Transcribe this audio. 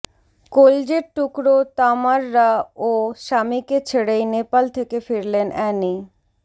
কলজের টুকরো তামাররা ও স্বামীকে ছেড়েই নেপাল থেকে ফিরলেন অ্যানি